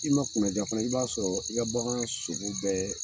I ma kunna ja fana, i b'a sɔrɔ, i ka bagan sogo bɛɛ